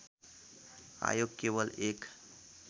आयोग केवल एक